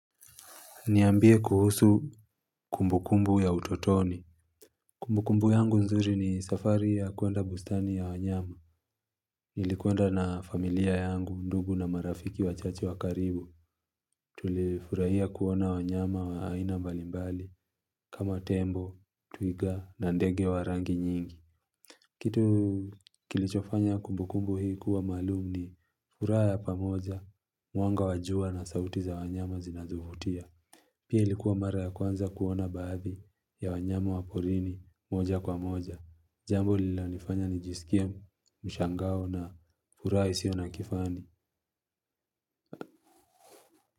Niambie kuhusu kumbukumbu ya utotoni. Kumbukumbu yangu nzuri ni safari ya kwenda bustani ya wanyama. Nilikwenda na familia yangu ndugu na marafiki wachache wa karibu. Tulifurahia kuona wanyama wa aina mbalimbali. Kama tembo, twiga na ndege wa rangi nyingi. Kitu kilichofanya kumbukumbu hii kuwa maalum ni. Furaha ya pamoja, mwanga wa jua na sauti za wanyama zinazovutia. Pia likuwa mara ya kwanza kuona baadhi. Ya wanyama wa porini moja kwa moja. Jambo lilalonifanya nijisikie mshangao na furaha isio na kifani.